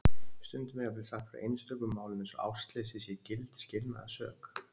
Stundum er jafnvel sagt frá einstökum málum eins og ástleysi sé gild skilnaðarsök.